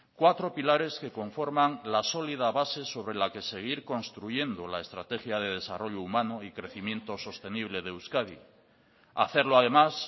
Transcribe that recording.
cuatro pilares que conforman la sólida base sobre la que seguir construyendo la estrategia de desarrollo humano y crecimiento sostenible de euskadi hacerlo además